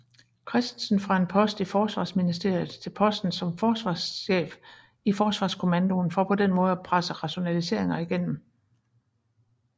Kristensen fra en post i Forsvarsministeriet til posten som forsvarsstabschef i Forsvarskommandoen for på den måde at presse rationaliseringer igennem